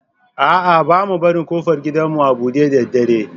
A'a, ba mu barin ƙofar gidanmu a buɗe da dare.